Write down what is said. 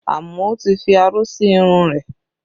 Amao tí fi aró sí irun rẹ̀